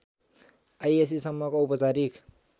ISc सम्मको औपचारिक